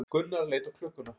Gunnar leit á klukkuna.